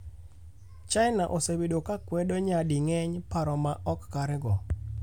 China osebedo ka kwedo nyadi ng'eny paro ma ok kare go.